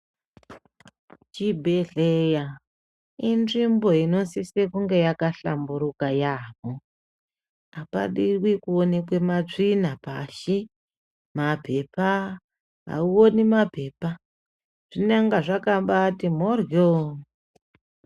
Chibhehleya inzvimbo inosise kunge yakahlamburuka yaambo. Apadi kuonekwa matsvina pashi, mapepa. Awuoni mapepa zvinonga zvakambati mhoryo.